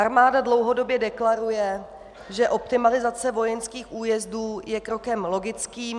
Armáda dlouhodobě deklaruje, že optimalizace vojenských újezdů je krokem logickým...